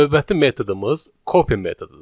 Növbəti metodumuz copy metodudur.